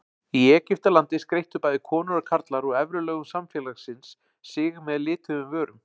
Í Egyptalandi skreyttu bæði konur og karlar úr efri lögum samfélagsins sig með lituðum vörum.